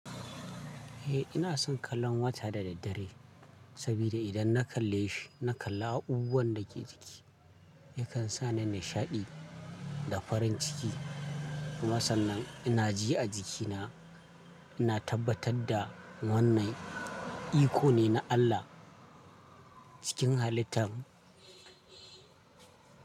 Eh ina son kallon wata da daddare saboda idan na kalle shi, na kalla abubuwan da ke jiki. Yakan sa ni nishaɗi da farin ciki. Masan nan ina ji a jikina ina tabbatar da wannan iko ne na Allah cikin halittar.